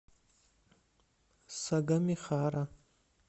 сагамихара